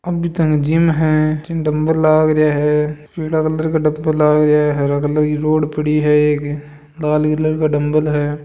अभी तब जिम है जिम डंबल लग रया है पीला कलर लाग रया है हरा कलर की रोड पड़ी है एक लाल कलर का डंबल है।